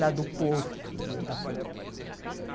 Lá do Porto de da França.